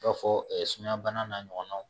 I b'a fɔ sumayabana n'a ɲɔgɔnnaw